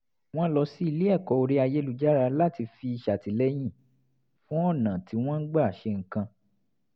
wọ́n lọ sí ilé ẹ̀kọ́ orí ayélujára láti fi ṣàtìlẹ́yìn fún ọ̀nà tí wọ́n ń gbà ṣe nǹkan